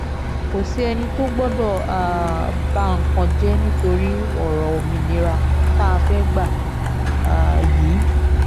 kò sí ẹni tó gbọ́dọ̀ um ba nǹkan jẹ́ nítorí ọ̀rọ̀ òmìnira tá a fẹ́ẹ́ gbà um yìí